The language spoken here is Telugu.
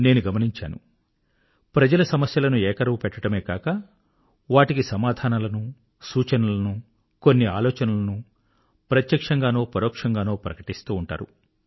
నేను గమనించాను ప్రజలు సమస్యలను ఏకరువుపెట్టడమే కాక వాటికి సమాధానాలను సూచనలను కొన్ని ఆలోచనలను ప్రత్యక్షంగానో పరోక్షంగానో ప్రకటిస్తూ ఉంటారు